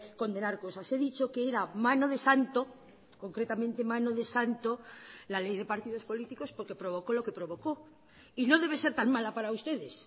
condenar cosas he dicho que era mano de santo concretamente mano de santo la ley de partidos políticos porque provocó lo que provocó y no debe ser tan mala para ustedes